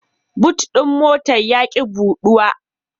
But ɗin motar ya ƙi buɗuwa.